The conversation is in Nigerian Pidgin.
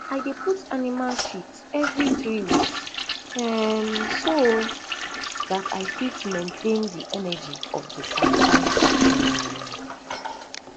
i dey put animal shit everi three weeks um so dat i fit maintain de energi of de sansan um